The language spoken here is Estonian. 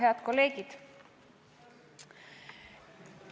Head kolleegid!